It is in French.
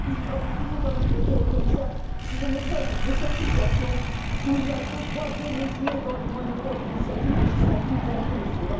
Et puis, je voudrais en profiter quand même pour dire au commissaire que je m'étonne de cette situation où il y deux poids, deux mesures dans le monopole d'initiative législative de la Commission.